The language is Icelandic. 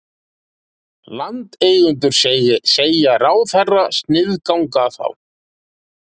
Landeigendur segja ráðherra sniðganga þá